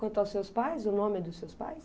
Quanto aos seus pais, o nome dos seus pais?